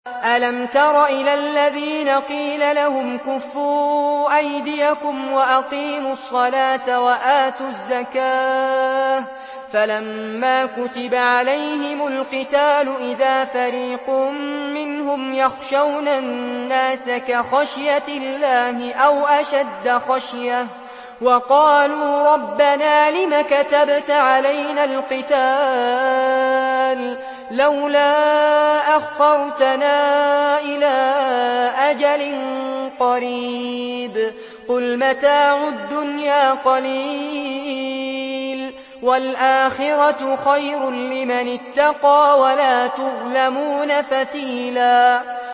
أَلَمْ تَرَ إِلَى الَّذِينَ قِيلَ لَهُمْ كُفُّوا أَيْدِيَكُمْ وَأَقِيمُوا الصَّلَاةَ وَآتُوا الزَّكَاةَ فَلَمَّا كُتِبَ عَلَيْهِمُ الْقِتَالُ إِذَا فَرِيقٌ مِّنْهُمْ يَخْشَوْنَ النَّاسَ كَخَشْيَةِ اللَّهِ أَوْ أَشَدَّ خَشْيَةً ۚ وَقَالُوا رَبَّنَا لِمَ كَتَبْتَ عَلَيْنَا الْقِتَالَ لَوْلَا أَخَّرْتَنَا إِلَىٰ أَجَلٍ قَرِيبٍ ۗ قُلْ مَتَاعُ الدُّنْيَا قَلِيلٌ وَالْآخِرَةُ خَيْرٌ لِّمَنِ اتَّقَىٰ وَلَا تُظْلَمُونَ فَتِيلًا